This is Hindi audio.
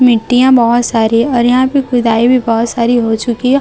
मिट्टियां बहुत सारी और यहां पे खुदाई भी बहुत सारी हो चुकी है।